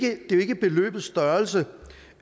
er jo ikke beløbets størrelse